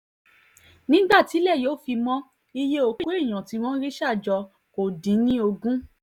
nígbà tílẹ̀ yóò fi mọ iye òkú èèyàn tí wọ́n rí ṣà jọ kó dín ní ogún